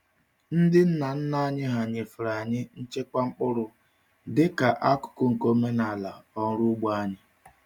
Ndị nna nna anyị nyefere anyị nchekwa mkpụrụ dịka akụkụ nke omenala ọrụ ugbo anyị.